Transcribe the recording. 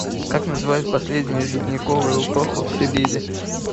как называют последнюю ледниковую эпоху в сибири